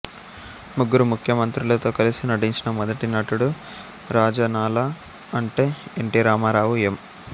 ముగ్గురు ముఖ్యమంత్రులతో కలిసి నటించిన మొదటి నటుడు రాజనాలా అంటే ఎన్ టి రామారావు ఎం